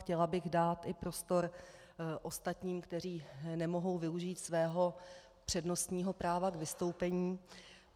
Chtěla bych dát i prostor ostatním, kteří nemohou využít svého přednostního práva k vystoupení.